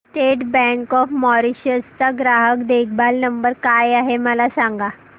state Bank of Mauritius चा ग्राहक देखभाल नंबर काय आहे मला सांगा